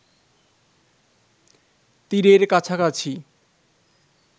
তীরের কাছাকাছি